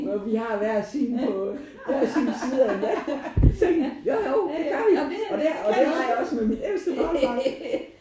Og vi har hver sin på hver sin side af sengen jo jo det gør vi og det gjorde jeg også med mit ældste barnebarn